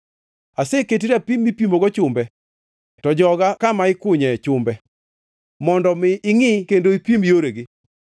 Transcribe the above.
“Aseketi rapim mipimogo chumbe to joga kama ikunye chumbe, mondo mi ingʼi kendo ipim yoregi.